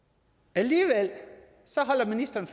alligevel holder ministeren